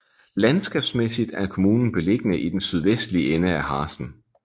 Landskabsmæssigt er kommunen beliggende i den sydvestlige ende af Harzen